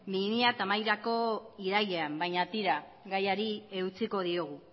bi mila hamairurako irailean baina tira gaiari eutsiko diogu